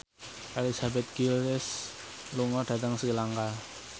Elizabeth Gillies lunga dhateng Sri Lanka